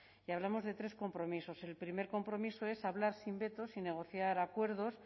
y hablamos de tres compromisos el primer compromiso es hablar sin vetos y negociar acuerdos